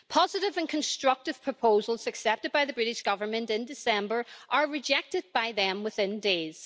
Positive and constructive proposals accepted by the British Government in December are rejected by them within days.